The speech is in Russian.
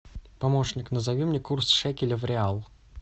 помощник назови мне курс шекеля в реал